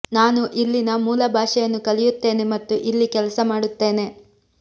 ನಾನು ಇಲ್ಲಿನ ಮೂಲ ಭಾಷೆಯನ್ನು ಕಲಿಯುತ್ತೇನೆ ಮತ್ತು ಇಲ್ಲಿ ಕೆಲಸ ಮಾಡುತ್ತೇನೆ